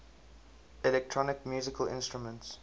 electronic musical instruments